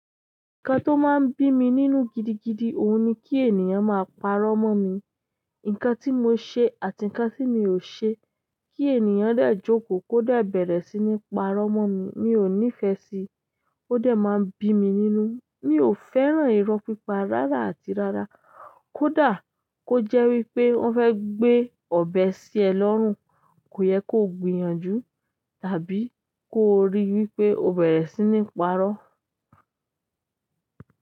Nǹkan tó máa ń bí mi nínú gidigidi ohun ni kí ènìyàn máa parọ́ mọ́ mi. Nǹkan tí mo ṣe àti nǹkan tí mi ò ṣe. Kí ènìyàn dè jókòó kó dè bẹ̀rẹ̀ sí ní parọ́ mọ́ mi, mi ò nífẹ síi. Ó dà máa ń bí mi nínú. Mi ò fẹ́ràn irọ́ pípa rárá àti rárá. Kódà kó jẹ́ wípé wọn fẹ́ gbé ọbẹ sí e lọ́rùn, kò yẹ kó gbìyànjú tàbí kó rí i wípé o bẹ̀rẹ̀ sí ní parọ́.